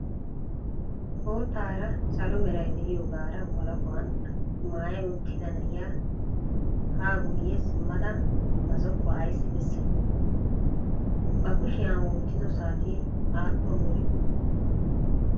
Boottara salo meray de'iyoogara walahuwan maaya uttida na'iya ha guyye simmada na zokuwa ayssi bessay? A ba kushiya wottido saate aappun biree?